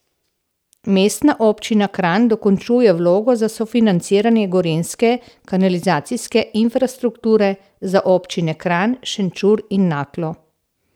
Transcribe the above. Mestna občina Kranj dokončuje vlogo za sofinanciranje gorenjske kanalizacijske infrastrukture za občine Kranj, Šenčur in Naklo.